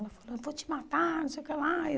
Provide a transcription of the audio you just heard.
Ela falou, eu vou te matar, não sei o que lá.